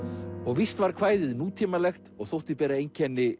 víst var kvæðið nútímalegt og þótti bera einkenni